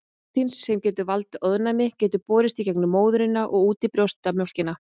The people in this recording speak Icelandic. Prótín sem getur valdið ofnæmi getur borist í gegnum móðurina og út í brjóstamjólkina.